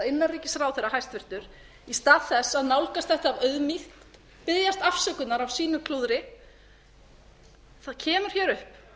innanríkisráðherra skuli í stað þess að nálgast þetta af auðmýkt biðjast afsökunar á sínu klúðri koma hér